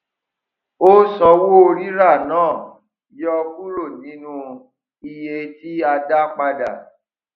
o sanwó rírà náà yọ kúrò nínú iye tí a dá padà